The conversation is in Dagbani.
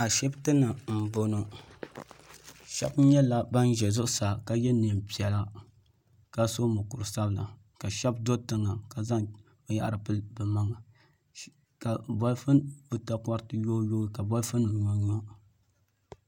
Ashibiti ni n bɔŋɔ shɛba nyɛla bani zɛ zuɣusaa ka ye nɛma piɛlla ka so mukuri sabila ka shɛba do tiŋa ka zaŋ bini yara pili bi maŋa ka takɔriti yoi yoi ka bolifu nima nyo n yo.